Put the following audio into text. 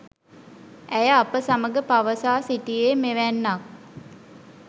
ඇය අප සමග පවසා සිටියේ මෙවැන්නක්